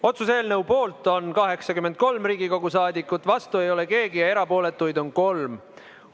Otsuse eelnõu poolt on 83 Riigikogu liiget, vastu ei ole keegi ja erapooletuid on 3.